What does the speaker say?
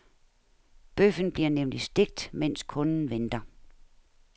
Bøffen bliver nemlig stegt, mens kunden venter.